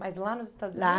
Mas lá nos Estados Unidos lá